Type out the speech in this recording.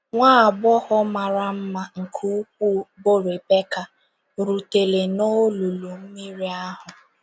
Nwa agbọghọ ““ mara mma nke ukwuu, ” bụ́ Ribeka, rutere n’olulu mmiri ahụ.